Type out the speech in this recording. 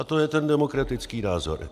A to je ten demokratický názor.